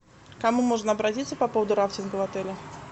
к кому можно обратиться по поводу рафтинга в отеле